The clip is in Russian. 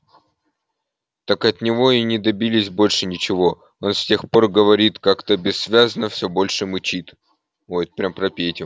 так от него и не добились больше ничего он с тех пор говорит как-то бессвязно все больше мычит ой эт прям про петю